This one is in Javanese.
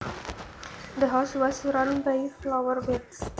The house was surrounded by flower beds